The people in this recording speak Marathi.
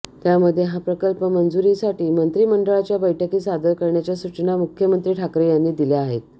त्यामध्ये हा प्रकल्प मंजुरीसाठी मंत्रिमंडळाच्या बैठकीत सादर करण्याच्या सूचना मुख्यमंत्री ठाकरे यांनी दिल्या आहेत